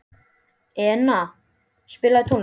Enea, spilaðu tónlist.